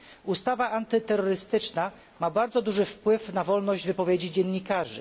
Ustawa antyterrorystyczna ma bardzo duży wpływ na wolność wypowiedzi dziennikarzy.